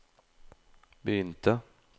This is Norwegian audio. begynte